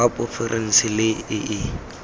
wa porofense le e e